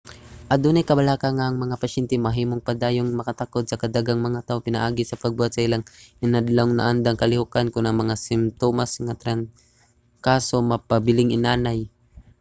adunay kabalaka nga ang mga pasyente mahimong padayong makatakod sa daghang mga tawo pinaagi sa pagbuhat sa ilang inadlawng naandang kalihokan kon ang mga simtomas sa trangkaso magpabiling inanay